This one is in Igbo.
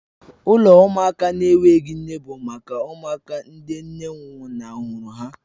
Ụlọ ụmụaka na-enweghị nne bụ maka ụmụaka ndị nne nwụnahụrụ ha